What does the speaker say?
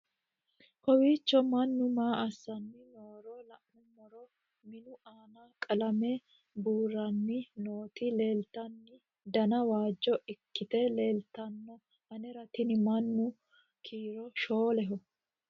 kowiicho mannu maa assanni nooro la'nummoro minu aana qalame buuranni nooti leeltanno dana waajjo ikkite leeltanno anera tini mannu kiiro shooleho